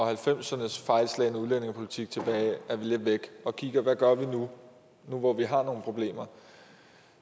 halvfemserne s fejlslagne udlændingepolitik lidt væk og kigger på gør nu nu hvor vi har nogle problemer